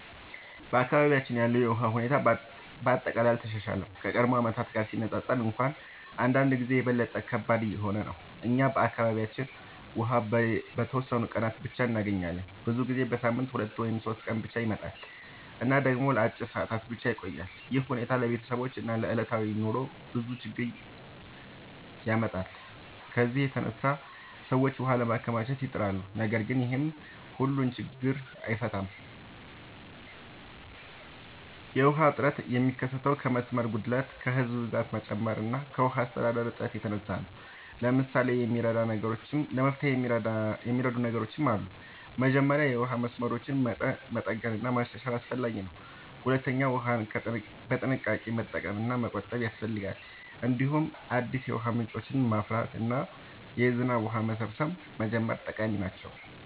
በአካባቢያችን ያለው የውሃ ሁኔታ በአጠቃላይ አልተሻሻለም፤ ከቀድሞ ዓመታት ጋር ሲነፃፀር እንኳን አንዳንድ ጊዜ የበለጠ ከባድ እየሆነ ነው። እኛ በአካባቢያችን ውሃ በተወሰኑ ቀናት ብቻ እንገኛለን፤ ብዙ ጊዜ በሳምንት 2 ወይም 3 ቀን ብቻ ይመጣል እና ደግሞ ለአጭር ሰዓታት ብቻ ይቆያል። ይህ ሁኔታ ለቤተሰቦች እና ለዕለታዊ ኑሮ ብዙ ችግኝ ያመጣል። ከዚህ የተነሳ ሰዎች ውሃ ለማከማቸት ይጥራሉ፣ ነገር ግን ይህም ሁሉን ችግኝ አይፈታም። የውሃ እጥረት የሚከሰተው ከመስመር ጉድለት፣ ከህዝብ ብዛት መጨመር እና ከውሃ አስተዳደር እጥረት የተነሳ ነው። ለመፍትሄ የሚረዱ ነገሮች ብዙ አሉ። መጀመሪያ የውሃ መስመሮችን መጠገን እና ማሻሻል አስፈላጊ ነው። ሁለተኛ ውሃን በጥንቃቄ መጠቀም እና መቆጠብ ያስፈልጋል። እንዲሁም አዲስ የውሃ ምንጮችን ማፍራት እና የዝናብ ውሃ መሰብሰብ መጀመር ጠቃሚ ነው።